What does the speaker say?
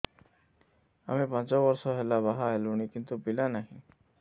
ଆମେ ପାଞ୍ଚ ବର୍ଷ ହେଲା ବାହା ହେଲୁଣି କିନ୍ତୁ ପିଲା ନାହିଁ